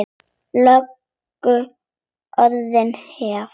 Löngu orðin hefð.